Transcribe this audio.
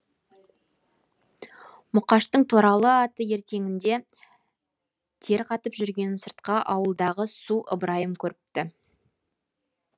мұқаштың торала аты ертеңінде тер қатып жүргенін сыртқы ауылдағы су ыбырайым көріпті